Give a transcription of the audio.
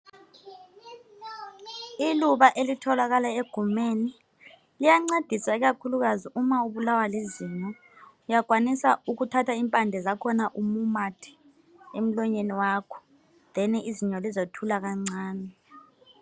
Iluba elitholakala egumeni, liyancedisa ikakhululukazi uma ubulawa lizinyo. Uyakwanisa ukuthatha impande zakhona umumathe emlonyeni wakho "then" zinyo lizothula kancane.